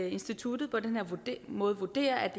instituttet på den her måde vurderer at